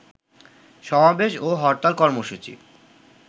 সমাবেশ ও হরতাল কর্মসূচি